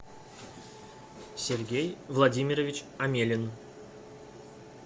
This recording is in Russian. сергей владимирович амелин